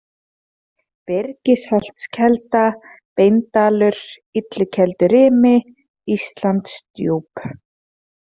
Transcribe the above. Byrgisholtskelda, Beindalur, Illukeldurimi, Íslandsdjúp